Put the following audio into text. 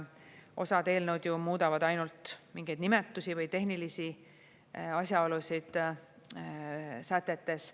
Osa eelnõusid ju muudab ainult mingeid nimetusi või tehnilisi asjaolusid sätetes.